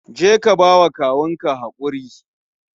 Je ka ba wa kawun ka hakuri